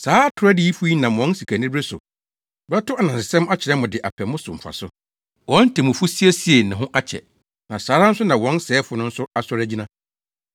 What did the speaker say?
Saa atoro adiyifo yi nam wɔn sikanibere so bɛto anansesɛm akyerɛ mo de apɛ mo so mfaso. Wɔn temmufo siesiee ne ho akyɛ, na saa ara nso na wɔn sɛefo no nso asɔre agyina.